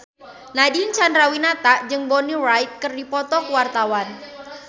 Nadine Chandrawinata jeung Bonnie Wright keur dipoto ku wartawan